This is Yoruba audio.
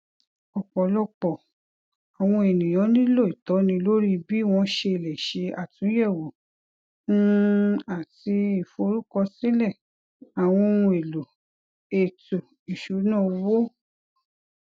ọpọlọpọ àwọn ènìyàn nílò ìtọni lórí bí wọn ṣe lè ṣe àtúnyẹwò um àti ìforúkọsílẹ àwọn ohun èlò ètò ìṣúnná owó